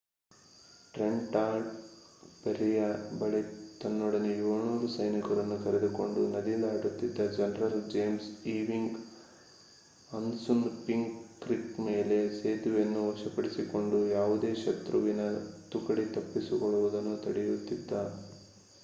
Trenton ಫೆರ್ರಿಯ ಬಳಿ ತನ್ನೊಡನೆ 700 ಸೈನಿಕರನ್ನು ಕರೆದುಕೊಂಡು ನದಿ ದಾಟುತಿದ್ದ ಜನರಲ್ ಜೇಮ್ಸ್ ಈವಿಂಗ್ ಅಸ್ಸುನ್‌ಪಿಂಕ್ ಕ್ರಿಕ್‍‌ನ ಮೇಲೆ ಸೇತುವೆಯನ್ನು ವಶಪಡಿಸಿಕೊಂಡು ಯಾವುದೇ ಶತ್ರುವಿನ ತುಕಡಿ ತಪ್ಪಿಸಿಕೊಳ್ಳುವುದನ್ನು ತಡೆಯುತ್ತಿದ್ದ